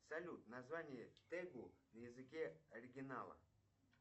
салют название тегу на языке оригинала